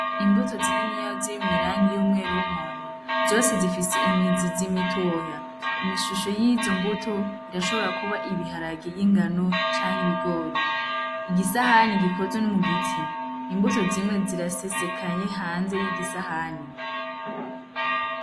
Imbuto zininiya ziri mw'irangi ryera y'umwomwo, zose zifise imizizi mitoya, imishusho yizo mbuto irashobora ibaharage y'ingano canke ibigori, igisahani gikozwe no mu giti, imbuto zimwe zirasesekaye hanze y'igisahani.